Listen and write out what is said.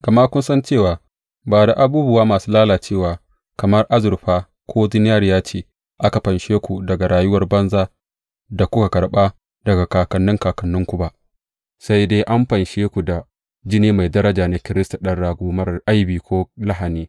Gama kun san cewa ba da abubuwa masu lalacewa kamar azurfa ko zinariya ce aka fanshe ku daga rayuwar banza da kuka karɓa daga kakanni kakanninku ba, sai dai an fanshe ku da jini mai daraja na Kiristi, ɗan rago marar aibi ko lahani.